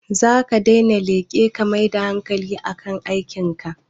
Zaka daina leƙe ka mai da hankali a kan aikin ka?